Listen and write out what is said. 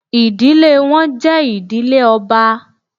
Idile wọn jẹ idile ọba